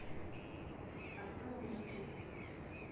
открой мне жуки